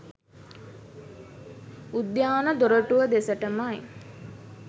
උද්‍යාන දොරටුව දෙසටමයි